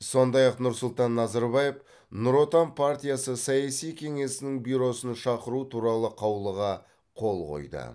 сондай ақ нұрсұлтан назарбаев нұр отан партиясы саяси кеңесінің бюросын шақыру туралы қаулыға қол қойды